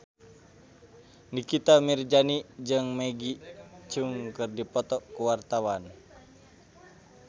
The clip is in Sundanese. Nikita Mirzani jeung Maggie Cheung keur dipoto ku wartawan